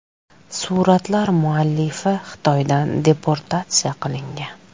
Suratlar muallifi Xitoydan deportatsiya qilingan.